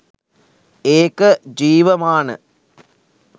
ඒක ජීවමාන